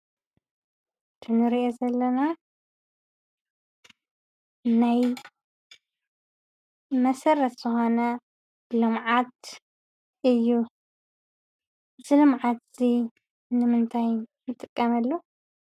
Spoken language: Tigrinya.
እዚ እንሪኦ ዘለና ናይ መሰረት ዝኮነ ልምዓት እዩ እዚ ልምዓት እዚ ንምንታይ ንጥቀመሉ?